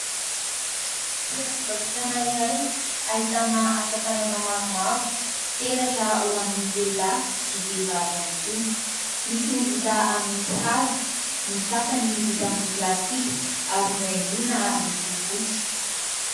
Toeram-pivarotana iray ahitana asa tanana maromaro : peratra ho an'ny lehilahy sy vehivavy ihany koa, misy ny vita amin'ny hazo ny sasany vita amin'ny plastika ary nohaingoina loko fotsy.